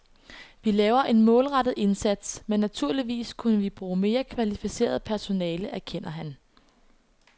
Vi laver en målrettet indsats, men naturligvis kunne vi bruge mere kvalificeret personale, erkender han.